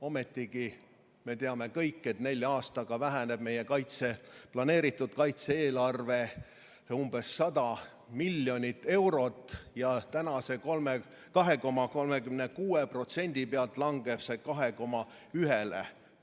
Ometigi me teame kõik, et nelja aastaga väheneb meie planeeritud kaitse-eelarve umbes 100 miljonit eurot ja tänase 2,36% pealt langeb see 2,1%-le.